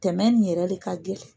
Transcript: Tɛmɛ nin yɛrɛ le ka gɛlɛn.